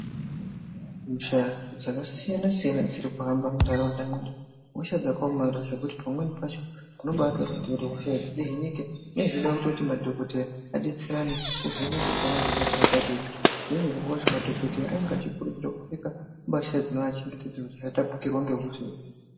Hosha dzakasiyana siyana dziri kuhamba muntaraunda medu hosha dzakaomarara zvekuti pamweni pacho unobatoona kuti hosha idzi dzihinike zvinenge zveida kuti madhokodheya adetserane kuvheneke kuona kuti ihosha yakadii zviro zvacho madhokodheya anenge achikurudzirwa kupfeka mbasha dzinoachengetedza kuti asatapukirwa ngehosha idzi.